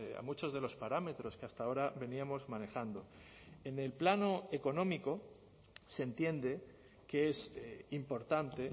a muchos de los parámetros que hasta ahora veníamos manejando en el plano económico se entiende que es importante